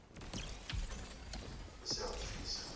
hu si ya u pfisa